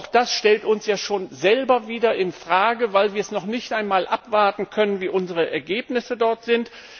Auch das stellt uns ja schon selber wieder in Frage, weil wir es nicht einmal abwarten können, wie unsere Ergebnisse dort sind.